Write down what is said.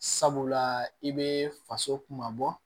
Sabula i bɛ faso kuma bɔ